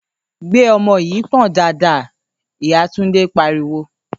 ‘Gbé o̩mo̩ yìí pò̩n dáadáa!’, ìyá Túndé pariwo